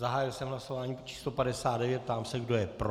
Zahájil jsem hlasování číslo 59, ptám se, kdo je pro.